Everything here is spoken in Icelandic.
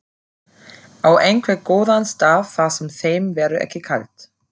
Á einhvern góðan stað þar sem þeim verður ekki kalt.